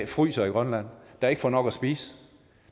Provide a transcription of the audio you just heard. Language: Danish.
fryser i grønland der ikke får nok at spise